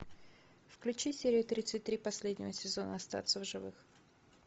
включи серию тридцать три последнего сезона остаться в живых